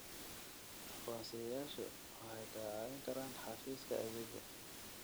Aqoonsiyeyaashu waxay caawiyaan xafiiska xafiiska adeegga.